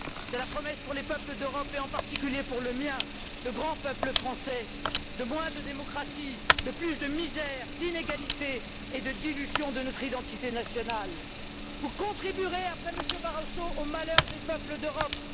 C'est la promesse pour les peuples d'Europe et, en particulier, pour le mien, le grand peuple français, de moins de démocratie, de plus de misère, d'inégalités et de dilution de notre identité nationale. Vous contribuerez, après M. Barroso, au malheur des peuples d'Europe.